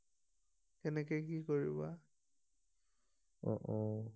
কেনেকে কি কৰিবা অ অ